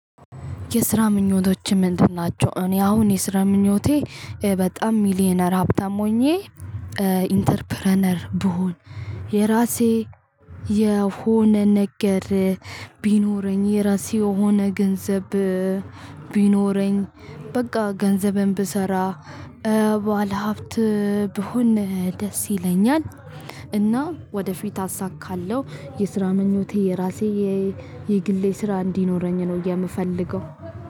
የስራ ምኞቶች ምንድን ናቸው? እኔ አሁን የስራ ምኞቴ በጣም ሚሊየነር ሀብታም ሆኜ ኢንተርፕረነር ብሆን የራሴ የሆነ ነገር ቢኖረኝ የራሴ የሆነ ገንዘብ ቢኖረኝ። በቃ ገንዘብም ብሰራ ባለሀብት ብሆን ደስ ይለኛል። እና ወደፊት አሳካአለሁ የስራ ምኞቴ የራሴ የግሌ ስራ እንዲኖረኝ ነው የምፈልገው።